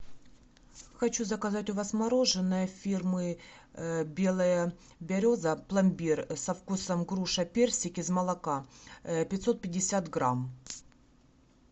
хочу заказать у вас мороженое фирмы белая береза пломбир со вкусом груша персик из молока пятьсот пятьдесят грамм